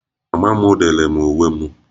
Mama m dere m uwe m